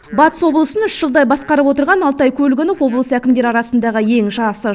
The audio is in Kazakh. батыс облысын үш жылдай басқарып отырған алтай көлгінов облыс әкімдері арасындағы ең жасы